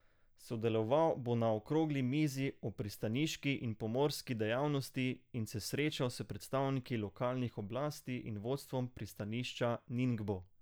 Sodeloval bo na okrogli mizi o pristaniški in pomorski dejavnosti in se srečal s predstavniki lokalnih oblasti in vodstvom pristanišča Ningbo.